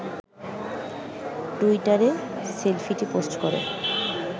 টুইটারে সেলফিটি পোস্ট করে